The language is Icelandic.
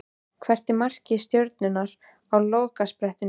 Hvert er markmið Stjörnunnar á lokasprettinum?